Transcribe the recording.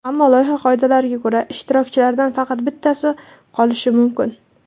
Ammo, loyiha qoidalariga ko‘ra, ishtirokchilardan faqat bittasi qolishi mumkin.